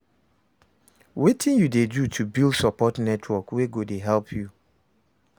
Wetin you dey do to build support network wey go dey help you?